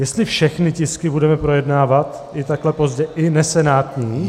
Jestli všechny tisky budeme projednávat i takhle pozdě, i nesenátní?